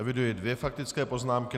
Eviduji dvě faktické poznámky.